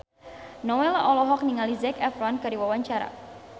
Nowela olohok ningali Zac Efron keur diwawancara